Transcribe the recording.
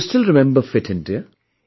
Do you still remember Fit India